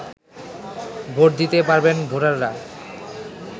vote দিতে পারবেন ভোটাররা